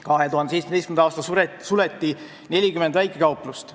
2017. aastal suleti 40 väikekauplust.